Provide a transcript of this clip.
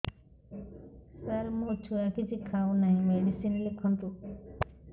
ସାର ମୋ ଛୁଆ କିଛି ଖାଉ ନାହିଁ ମେଡିସିନ ଲେଖନ୍ତୁ